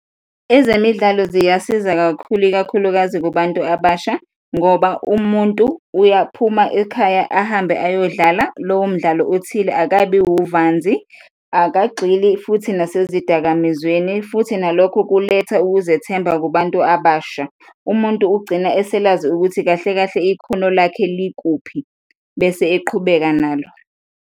Ezemidlalo ziyasiza kakhulu, ikakhulukazi kubantu abasha ngoba umuntu uyaphuma ekhaya ahambe ayodlala lowo mdlalo othile, akabi wuvanzi, akagxili futhi nasezidakamizweni futhi nalokho kuletha ukuzethemba kubantu abasha. Umuntu ugcina eselazi ukuthi kahle kahle ikhono lakhe likuphi bese eqhubeka nalo.